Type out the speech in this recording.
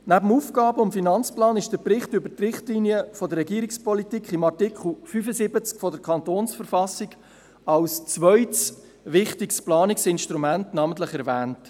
Neben dem Aufgaben- und Finanzplan (AFP) ist der Bericht über die Richtlinien der Regierungspolitik im Artikel 75 der Verfassung des Kantons Bern (Kantonsverfassung, KV) als zweites wichtiges Planungsinstrument namentlich erwähnt.